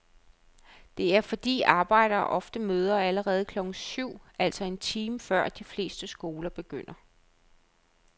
Det er fordi arbejdere ofte møder allerede klokken syv, altså en time før de fleste skoler begynder.